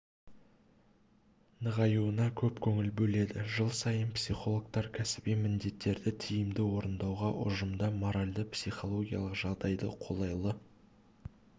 нығайуына көп көңіл бөледі жыл сайын психологтар кәсіби міндеттерді тиімді орындауға ұжымда моральды-психологиялық жағдайды қолайлы